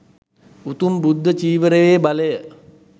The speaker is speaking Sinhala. උතුම් බුද්ධ චීවරයේ බලය